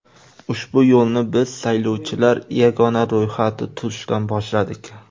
Ushbu yo‘lni biz saylovchilar yagona ro‘yxati tuzishdan boshladik.